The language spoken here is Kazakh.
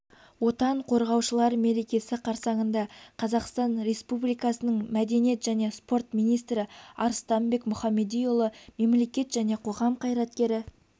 отан қорғаушылар мерекесі қарсаңында қазақстан республикасының мдениет жне спорт министрі арыстанбек мұхамедиұлы мемлекет және қоғам қайраткері